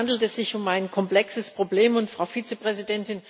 In der Tat handelt es sich um ein komplexes Problem, und Frau Vizepräsidentin,